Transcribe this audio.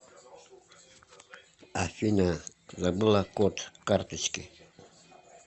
афина забыла код карточки